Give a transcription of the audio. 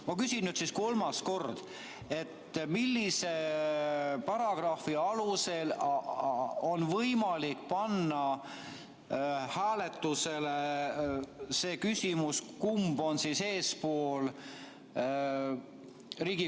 Ma küsin nüüd kolmandat korda, millise paragrahvi alusel on võimalik panna Riigikogu saalis hääletusele see küsimus, kumb esineja on eespool.